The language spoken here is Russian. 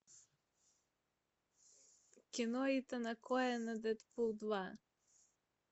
кино итана коэна дэдпул два